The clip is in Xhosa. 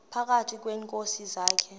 phakathi kweenkosi zakhe